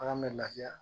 Ala mɛ laafiya